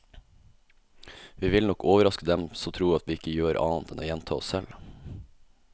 Vi vil nok overraske dem som tror at vi ikke gjør annet enn å gjenta oss selv.